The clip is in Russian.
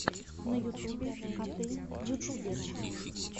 на ютубе коты ютуберы